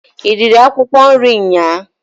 I riri akwụkwọ nri nnyaa?